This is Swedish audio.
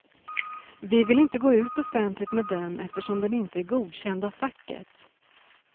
Vi vill inte gå ut offentligt med den eftersom den inte är godkänd av facket.